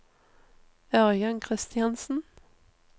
Ørjan Christiansen